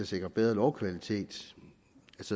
sikre bedre lovkvalitet